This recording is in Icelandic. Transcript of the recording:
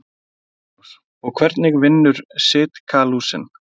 Magnús: Og hvernig vinnur Sitkalúsin?